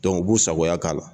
u b'u sagoya k'a la.